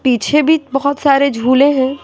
पीछे भी बहुत सारे झूले हैं।